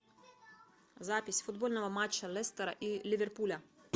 запись футбольного матча лестера и ливерпуля